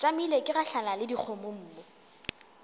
tšamile ke gahlana le dikgomommuu